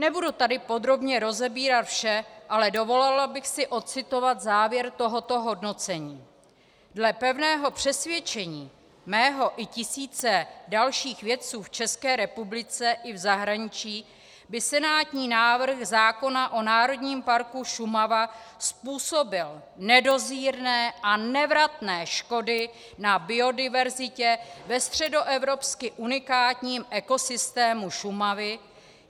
Nebudu tady podrobně rozebírat vše, ale dovolila bych si odcitovat závěr tohoto hodnocení: "Dle pevného přesvědčení mého i tisíce dalších vědců v České republice i v zahraničí by senátní návrh zákona o Národním parku Šumava způsobil nedozírné a nevratné škody na biodiverzitě ve středoevropsky unikátním ekosystému Šumavy.